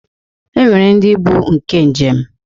E nwere ndị bụ nke njem